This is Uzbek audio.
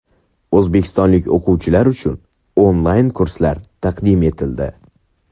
O‘zbekistonlik o‘qituvchilar uchun onlayn kurslar taqdim etildi.